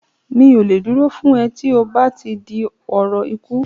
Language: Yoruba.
Mi ò lè dúró fún ẹ tí ó bá ti di ọ̀rọ̀ ikú